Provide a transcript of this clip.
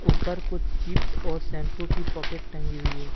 ऊपर कुछ चिप्स और शैम्पू की पॉकेट टगी हुई है।